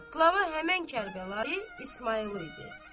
Qlava həmən Kərbəlayı İsmayıllı idi.